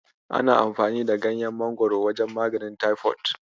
Ana amfani da ganyan Mangwaro wajen maganin taifod.